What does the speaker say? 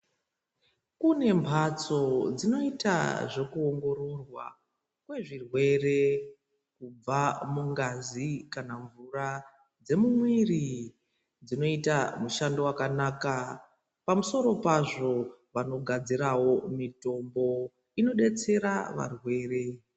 Kune mhatso dzinoita zvekuongirorwa kwezvirwere kubva mungazi kana mvura dzemumwiri dzinoita mushando wakanaka pamusoro pazvo vanogadzirawovnmitombo inodetsera varwere.